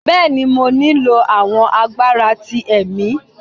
bẹẹni, mo nilo awọn agbara ti ẹmì